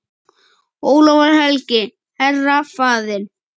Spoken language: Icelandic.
Ólafur helgi, herra, faðir.